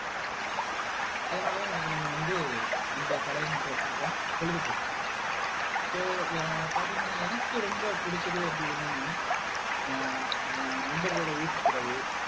அதனாலதான் இன்னைக்கு நம்ம வந்து இந்த தலையங்கத்தை எடுத்திருக்கோம் பொழுதுபோக்கு so அஹ் பாத்தீங்கன்னா எனக்கு ரொம்ப புடிச்சது அப்படி என்னன்னா அஹ் என் நண்பர்களோட ஊர் சுத்துறது